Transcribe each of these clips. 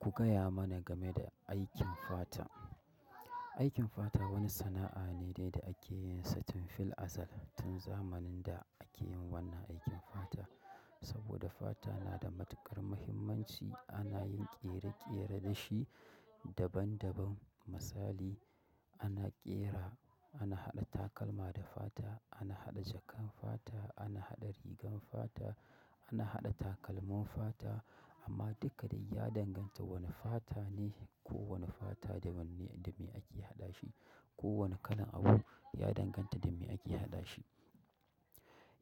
Ku gaya mana game da aikin fata. Aikin fata wani sana'a ne dai da ake yinsa tun fil azal, tun zamanin da ake yin wannan aikin fata. Saboda fata nada matuƙar muhimmanci ana yin ƙere-ƙere dashi daban daban. Misali ana ƙera, ana haɗa takalma da fata, ana haɗa jakan fata, ana haɗa rigan fata, ana haɗa takalmin fata amma duka dai ya danganta wani fata ne kowani fata da wanne, dame ake haɗashi. Kowani kalan abu ya danganta dame ake hadashi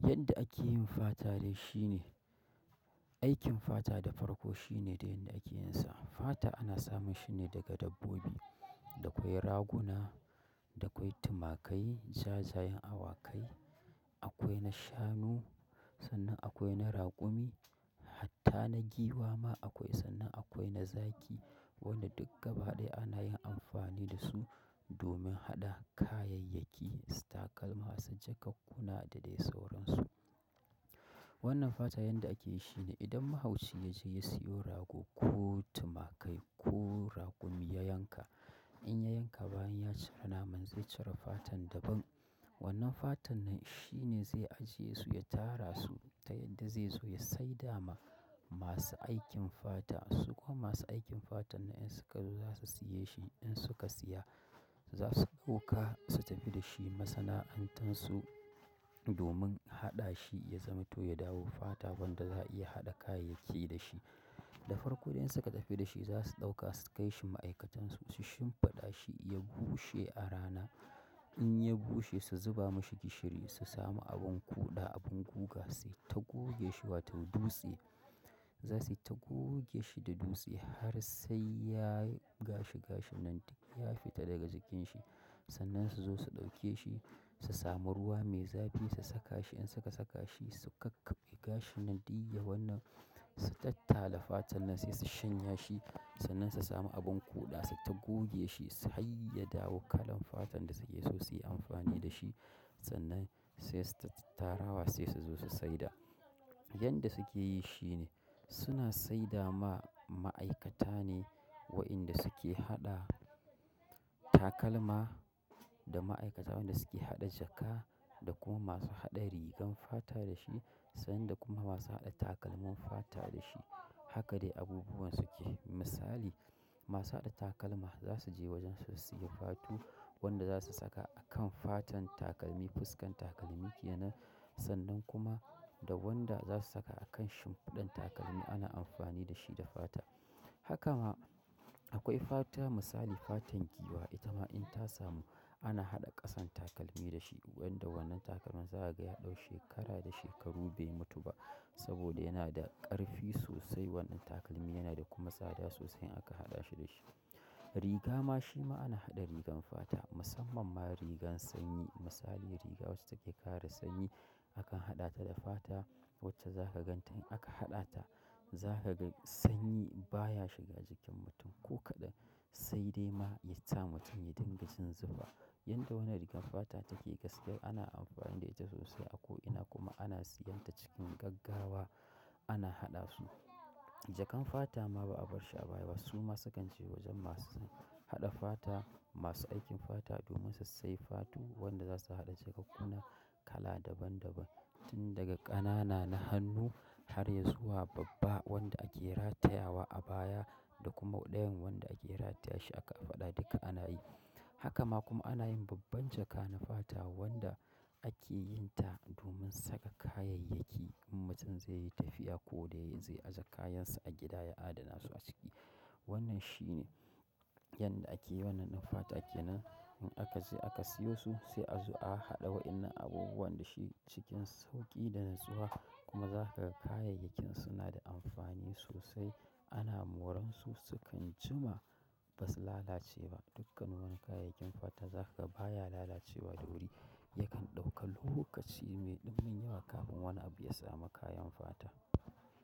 yanda ake yin fata dai shine, aikin fata da farko shine dai yanda akeyinsa. Fata ana samun shine daga dabbobi, dakwai rakuna, dakwai tumakai, jajayen awakai, akwai na shanu, sannan akwai na raƙumi, hatta na giwa ma akwai, sannan akwai na zaki. Wanda duk gabaɗaya ana yin amfani dasu domin haɗa kayayyaki, su takalma, su jakakkuna da dai sauransu. Wannan fatan yanda akeyi shine idan mahauci yaze ya siyo rago ko tumakai ko rakumi ya yanka. In ya yanka bayan ya cire naman zai cire fatan daban. Wannan fatan nan shine zai ajiye su, ya tara su ta yadda zaizo ya saida ma masu aikin fata. Su kuma masu aikin fatannan in suka zo zasu siyeshi. In suka siya, zasu ɗauka su tafi dashi masana'antansu domin haɗashi ya zamato ya dawo fata wanda za'a iya haɗa kayayyaki dashi. Da farko idan suka tafi da shi za su ɗauka su kai shi ma'aikatan su, su shimfiɗa shi ya bushe a rana. Inya bushe su zuba mashi gishiri su samu abin ƙuda, abin guga suyi ta gogeshi wato dutse. Za suyi ta gogeshi da dutse har sai ya gashi gashin nan duk ya fita daga jikinshi. Sannan su zo su ɗauke shi, su samu ruwa mai zafi su saka shi. In suka saka shi su kakkaɓe gashinan ɗuk yawannan, su tattala fata nan sai su shanya shi sannan su samu abin ƙuda suyi ta gogeshi harya dawo kalan fatan da suke so suyi amfani dashi. Sannan sai suyi ta tattarawa sai suzo su saida. Yanda suke yi shine suna saida ma ma'aikata ne wa'inda suke haɗa takalma da ma'aikata wa'inda suke haɗa jaka da kuma masu haɗa rigan fata da shi sannan da kuma masu haɗa takalmin fata da shi. Haka dai abubuwan suke. Misali masu haɗa takalma zasu je wajensu su siya fatu wanda zasu saka akan fatan takalmi, fuskan takalmi kenan sannan kuma da wanda za su saka a kan shimfiɗan takalmi ana amfani da shi da fata. Hakama akwai fata misali fatan giwa itama in ta samu ana haɗa ƙasan takalmi dashi. Wanda wannan takalmin za kaga ya ɗau shekara da shekaru bai mutu ba saboda yana da ƙarfi sosai. Wannan takalmi yana da kuma tsada sosai in aka haɗashi dashi. Rigama shima ana haɗa rigan fata musamman ma rigan sanyi. Misali riga wacce take kare sanyi akan haɗa tada fata wacce zaka ganta in aka haɗata zaka gan sanyi baya shiga jikin mutum ko kaɗan sai dai ma yasa mutum ya dinga jin zufa. Yanda wannan rigan fata take gaskiyar ana amfani da ita sosai ako ina kuma ana siyanta cikin gaggawa ana haɗa su. Jakan fata ma ba'a barshi a baya ba, suma sukan je wajen masu haɗa fata, masu aikin fata domin sassai fatu wanda zasu haɗa jakakkuna kala daban daban tun daga ƙanana na hannu harya zuwa babba wanda ake rataya wa abaya da kuma ɗayan wanda ake rataye shi a ƙafaɗa duka ana yi. Haka ma kuma ana yin babban jaka na fata wanda ake yinta domin saka kayayyaki in mutum zaiyi tafiya ko dai zai aje kayansa a gida ya adanasu aciki. Wannan shine yanda ake yi wannan ɗan fata kenan, in akaje aka siyosu sai a zo a haɗa wa'inda abubuwan dashi cikin sauƙi da natsuwa kuma za kaga kayayyakin suna da amfani sosai. Ana moransu sukan jima basu lalace ba. Dukkan wannan kayayyakin fata za kaga baya lalacewa da wuri yakan ɗauka lokaci mai ɗimbin yawa kafin wani abu ya samu kayan fata.